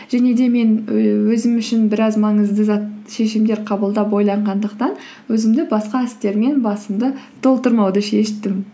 және де мен өзім үшін біраз маңызды шешімдер қабылдап ойланғандықтан өзімді басқа істермен басымды толтырмауды шештім